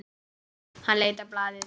Hann leit á blaðið.